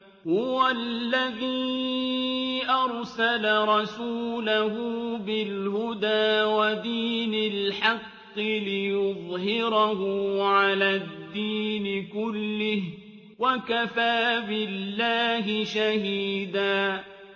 هُوَ الَّذِي أَرْسَلَ رَسُولَهُ بِالْهُدَىٰ وَدِينِ الْحَقِّ لِيُظْهِرَهُ عَلَى الدِّينِ كُلِّهِ ۚ وَكَفَىٰ بِاللَّهِ شَهِيدًا